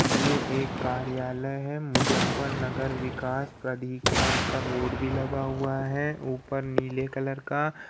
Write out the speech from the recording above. ये एक कार्यालय है। मुज़्ज़फरनगर विकास प्राधिकरण का बोर्ड भी लगा हुआ है ऊपर नीले कलर का।